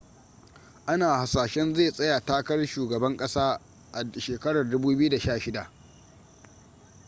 ana hasashen zai tsaya takarar shugaban kasa a 2016